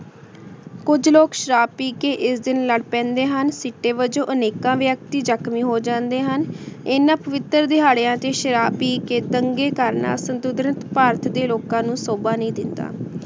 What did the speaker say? ਕੁਜ ਲੋਗ ਸ਼ਰਾਬ ਪੀ ਕੇ ਏਸ ਦਿਨ ਲਾਰ ਪੈਂਡੇ ਹਨ ਜਿਸਦੇ ਵਿਚੋਂ ਅਨੇਕਾਂ ਵਿਅਕਤੀ ਜ਼ਕ੍ਹਨ ਮੀ ਹੋ ਜਾਂਦੇ ਹਨ ਇਨਾਂ ਪਵਿਤਰ ਦੇਹਾਰ੍ਯਾਂ ਤੇ ਸ਼ਰਾਬ ਪੀ ਕੇ ਪੰਗੇ ਕਰਨਾ ਭਾਰਤ ਦੇ ਲੋਕਾਂ ਨੂੰ ਸ਼ੁਬਾ ਨਹੀ ਦੇਂਦਾ